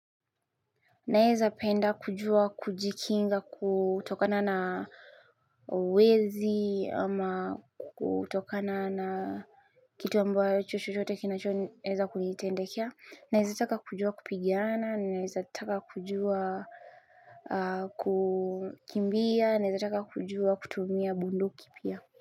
Naeza penda kujua kujikinga kutokana na wezi ama kutokana na kitu ambayo chochote kinachoeza kunitendekea. Naeza taka kujua kupigana, naeza taka kujua kukimbia, naeza taka kujua kutumia bunduki pia.